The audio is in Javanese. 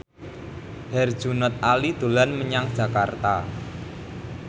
Herjunot Ali dolan menyang Jakarta